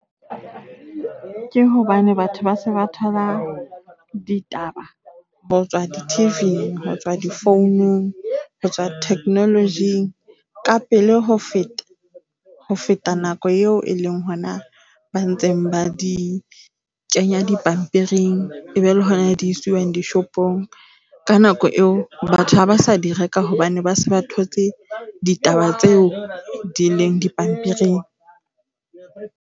Ke hobane batho ba se ba thola ditaba ho tswa di-T_V, ho tswa difounung, ho tswa technology-ng ka pele ho feta ho feta nako eo e leng hona ba ntseng ba di kenya dipampiring. E be le hona di isiwang dishopong. Ka nako eo batho ha ba sa di reka hobane ba se ba thotse ditaba tseo di leng dipampiring.